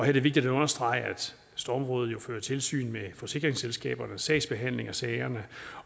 er det vigtigt at understrege at stormrådet jo fører tilsyn med forsikringsselskabernes sagsbehandling af sagerne